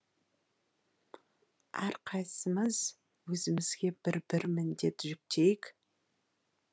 әрқайсысымыз өзімізге бір бір міндет жүктейік